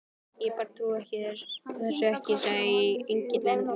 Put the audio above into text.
Ég bara trúi þessu ekki, sagði Engillinn, og